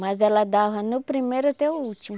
Mas ela dava no primeiro até o último.